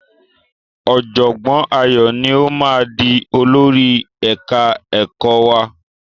Ọ̀jọ̀gbọ́n Ayọ̀ ni ó máa di olórí ẹ̀ka ẹ̀kọ́ wa.